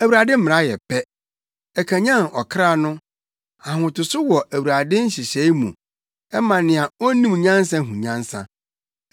Awurade mmara yɛ pɛ, ɛkanyan ɔkra no. Ahotoso wɔ Awurade nhyehyɛe mu, ɛma nea onnim nyansa hu nyansa.